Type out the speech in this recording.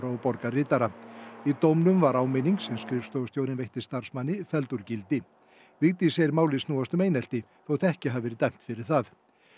og borgarritara í dómnum var áminning sem skrifstofustjórinn veitti starfsmanni felld úr gildi Vigdís segir málið snúast um einelti þótt ekki hafi verið dæmt fyrir það